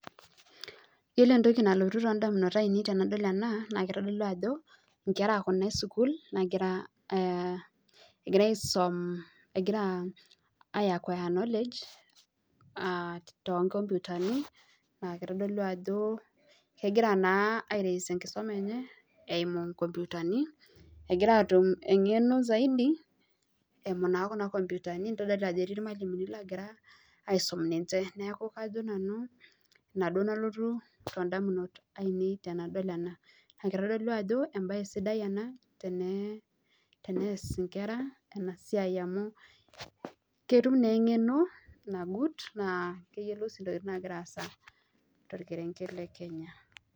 Ore entoki nalotu indamunot ainei tenadol ena naa kitodolu ajo inkerakuna e sukuul naa egira aisum egira mmh aiacquire knowledge toonkompyutani na kitodolu ajo kegira naa airaise enkisuma enye eimu inkompyutani egira aatum eng'eno eimu kuna kompyutani keeta ilmwalimuni oogira aisum ninche Kitodolu ajo embae sidai ena teneas inkera ena siai amu ketum naa engeno nagut naa keyiolou sii intokiting naagira aasa tolkerenget le Kenya